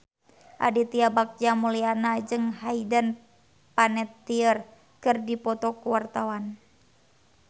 Aditya Bagja Mulyana jeung Hayden Panettiere keur dipoto ku wartawan